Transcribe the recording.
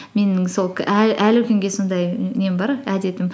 менің сол әлі күнге сондай нем бар әдетім